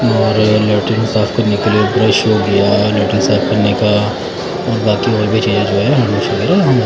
और लैट्रिन साफ करने के लिए ब्रश हो गया लैट्रिन साफ करने का बाकि और भी चीज़े